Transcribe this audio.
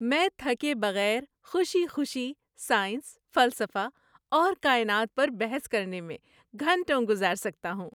میں تھکے بغیر خوشی خوشی سائنس، فلسفہ اور کائنات پر بحث کرنے میں گھنٹوں گزار سکتا ہوں۔